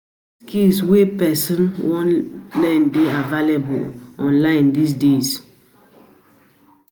Many skills wey person don, won learn de available online these days